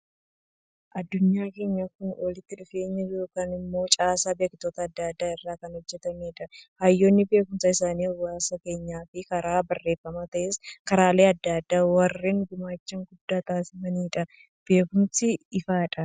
Addunyaan keenya Kun walitti dhufeenya yookaan immoo caasaa beektota adda addaa irraa kan hojjetamedha. Hayyoonni beekumsa isaanii hawaasa keenyaaf karaa barreeffamaanis ta'ee karaalee addaa addaa warreen gumaacha guddaa taasisaniifidha. Beekumsi ifadha.